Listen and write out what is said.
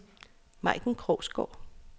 Majken Krogsgaard